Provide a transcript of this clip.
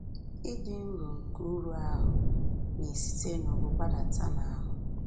Ịdị nro nke uru ahụ́ na-esite n’ubu gbadata n’ahụ́